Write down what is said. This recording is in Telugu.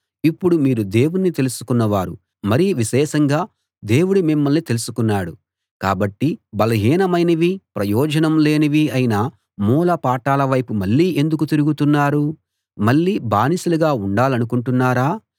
ఇప్పుడు మీరు దేవుణ్ణి తెలుసుకున్న వారు మరి విశేషంగా దేవుడు మిమ్మల్ని తెలుసుకున్నాడు కాబట్టి బలహీనమైనవీ ప్రయోజనం లేనివీ అయిన మూల పాఠాల వైపు మళ్ళీ ఎందుకు తిరుగుతున్నారు మళ్ళీ బానిసలుగా ఉండాలనుకుంటున్నారా